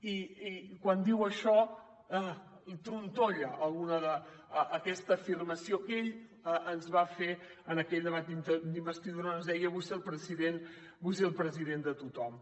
i quan diu això trontolla aquesta afirmació que ell ens va fer en aquell debat d’investidura on ens deia vull ser el president de tothom